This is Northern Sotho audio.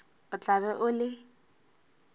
o tla be o le